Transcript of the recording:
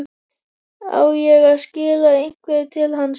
Á ég að skila einhverju til hans?